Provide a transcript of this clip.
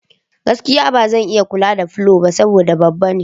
Gaskiya! Ba zan iya kula da falo ba saboda babba ne.